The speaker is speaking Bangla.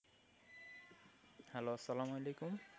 Hello আসসালাম আলিকুম।